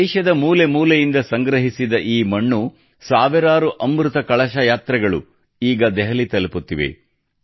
ದೇಶದ ಮೂಲೆ ಮೂಲೆಯಿಂದ ಸಂಗ್ರಹಿಸಿದ ಈ ಮಣ್ಣು ಸಾವಿರಾರು ಅಮೃತ ಕಲಶ ಯಾತ್ರೆಗಳು ಈಗ ದೆಹಲಿ ತಲುಪುತ್ತಿವೆ